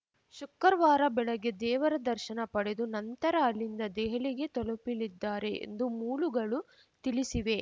ಶುಕ್ರವಾರ ಬೆಳಗ್ಗೆ ದೇವರ ದರ್ಶನ ಪಡೆದು ನಂತರ ಅಲ್ಲಿಂದ ದೆಹಲಿಗೆ ತಲುಪಿಲಿದ್ದಾರೆ ಎಂದು ಮೂಲುಗಳು ತಿಳಿಸಿವೆ